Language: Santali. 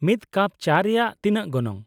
ᱢᱤᱫ ᱠᱟᱯ ᱪᱟ ᱨᱮᱭᱟᱜ ᱛᱤᱱᱟᱹᱜ ᱜᱚᱱᱚᱝ ?